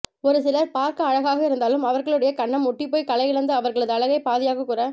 ஒரு சிலர் பார்க்க அழகாக இருந்தாலும் அவர்களுடைய கன்னம் ஒட்டி போய் களையிழந்து அவர்களது அழகை பாதியாக குற